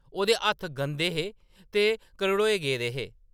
ओह्‌‌‌दे हत्थ गंदे हे ते घरड़ोए गेदे हे ।